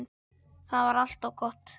Það var alltaf gott.